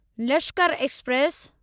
Lashkar express